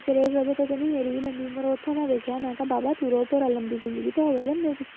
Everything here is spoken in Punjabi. ਮੇਰੀ ਵੀ ਲੰਮੀ ਉਮਰ ਉੱਥੋਂ ਮੈਂ ਦੇਖਿਆ ਮੈਂ ਕਿਹਾ ਬਾਬਾ ਤੁਰੋ ਭੋਰਾ ਲੰਮੀ ਜ਼ਿੰਦਗੀ ਤਾਂ ਹੋਵੇ ਬੰਦੇ ਦੀ